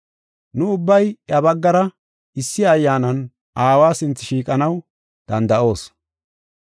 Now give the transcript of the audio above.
Nu ubbay iya baggara issi Ayyaanan Aawa sinthe shiiqanaw danda7oos.